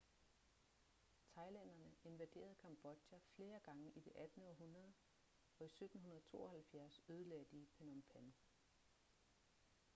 thailænderne invaderede cambodja flere gange i det 18. århundrede og i 1772 ødelagde de phnom phen